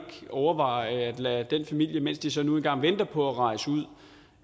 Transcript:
overveje at lade den familie mens den så nu engang venter på at rejse ud